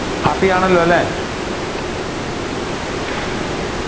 Happy ആണല്ലോ അല്ലേ